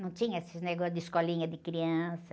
Não tinha esse negócio de escolinha de criança.